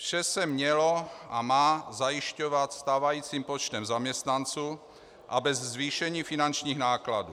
Vše se mělo a má zajišťovat stávajícím počtem zaměstnanců a bez zvýšení finančních nákladů.